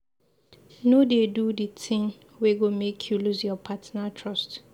No dey do di tin wey go make you loose your partner trust.